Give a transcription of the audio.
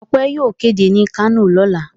Ọpẹ́ yóò kéde ní Kano lọ́la.